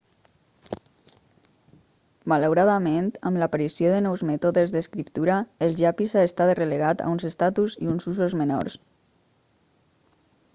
malauradament amb l'aparició de nous mètodes d'escriptura el llapis ha estat relegat a un estatus i uns usos menors